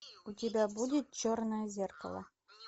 у тебя будет черное зеркало